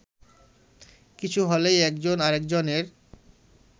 কিছু হলেই একজন আরেকজনের